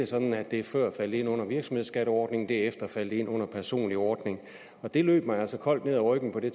sådan at det før falder ind under virksomhedsskatteordningen og det efter falder ind under en personlig ordning det løb mig altså koldt ned ryggen for det